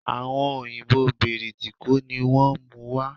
Àwon òyìbó Bìrìtìkó ni wón múu wa